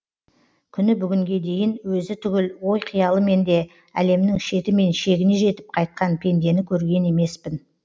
күні бүгінге дейін өзі түгіл ой қиялымен де әлемнің шеті мен шегіне жетіп қайтқан пендені көрген емеспін